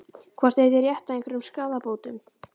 Hvort þið eigið rétt á einhverjum skaðabótum?